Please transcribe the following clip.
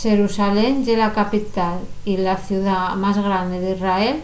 xerusalén ye la capital y la ciudá más grande d’israel